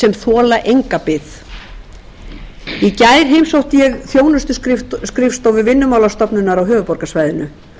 sem þola enga bið í gær heimsótti ég þjónustuskrifstofur vinnumálastofnunar á höfuðborgarsvæðinu